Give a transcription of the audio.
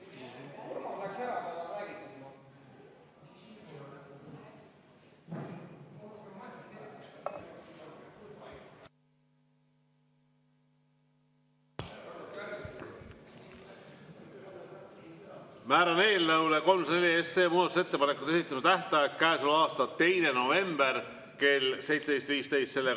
Määran eelnõule 304 muudatusettepanekute esitamise tähtajaks käesoleva aasta 2. novembri kell 17.15.